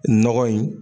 Nɔgɔ in